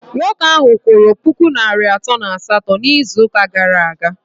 Nwoke ahụ kwụrụ puku naịra atọ na asatọ n'izuụka gara aga